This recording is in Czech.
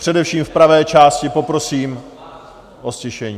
Především v pravé části poprosím o ztišení.